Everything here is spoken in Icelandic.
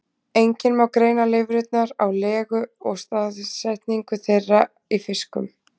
Einnig má greina lirfurnar á legu og staðsetningu þeirra í fiskum.